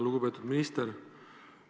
Lugupeetud minister!